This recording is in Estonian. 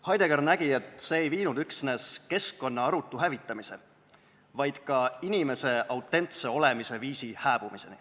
Heidegger nägi, et see ei toonud kaasa mitte üksnes keskkonna arutu hävitamise, vaid ka inimese autentse olemisviisi hääbumise.